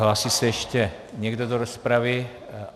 Hlásí se ještě někdo do rozpravy?